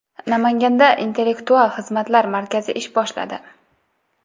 Namanganda Intellektual xizmatlar markazi ish boshladi.